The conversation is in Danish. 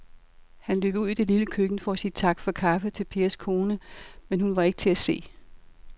Han løb ud i det lille køkken for at sige tak for kaffe til Pers kone, men hun var ikke til at se.